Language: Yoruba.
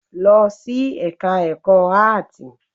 Lọ sí ẹka ẹ̀kọ́ áàtì!